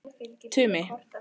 Tumi